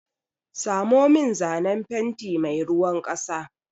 Samo min zanen fenti mai ruwan ƙasa!